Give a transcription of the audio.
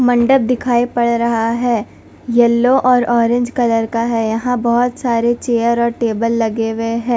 मंडप दिखाई पड़ रहा है येलो और ऑरेंज कलर का है। यहां बहोत सारे चेयर और टेबल लगे हुए हैं।